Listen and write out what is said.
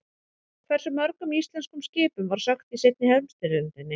Hversu mörgum íslenskum skipum var sökkt í seinni heimsstyrjöldinni?